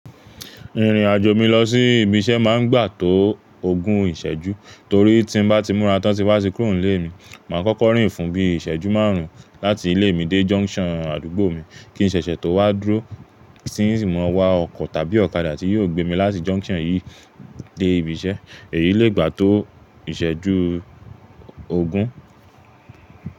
Ìrìnàjò mi lọ sí ibi iṣẹ́ máa ń gbà tó ogún ìṣẹ́jú torí tí n bá ti múra tán tín ba tí kúrò nlé mi, màá kọ́kọ́ rìn fún bí i ìṣẹ́jú márùn ún láti ilé mi dé junction àdúgbò mi, kí n ṣẹ̀ṣẹ̀ tó wá dúró Tin si mọ̀ wá ọkọ̀ tàbí ọ̀kadà tí yóò gbé mi láti junction yìí dé ibi iṣẹ́. Èyí le gbà tó ìṣẹ́jú ogún.